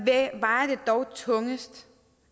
dog tungest